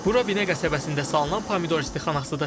Bura Binə qəsəbəsində salınan pomidor istixanasıdır.